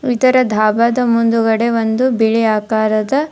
ಇದರ ದಾಬಾದ ಮುಂದಗಡೆ ಒಂದು ಬಿಳಿ ಆಕಾರದ --